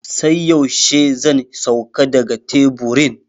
Sai yaushe zan sauka daga teburin?